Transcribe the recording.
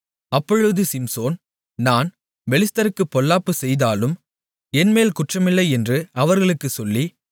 அப்பொழுது சிம்சோன் நான் பெலிஸ்தர்களுக்குப் பொல்லாப்புச் செய்தாலும் என்மேல் குற்றமில்லை என்று அவர்களுக்குச் சொல்லி